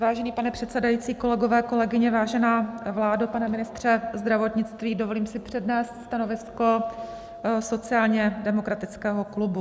Vážený pane předsedající, kolegové, kolegyně, vážená vládo, pane ministře zdravotnictví, dovolím si přednést stanovisko sociálně demokratického klubu.